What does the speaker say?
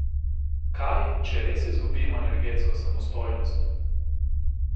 Kaj, če res izgubimo energetsko samostojnost?